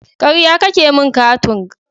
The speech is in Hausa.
Karya kake min Katung.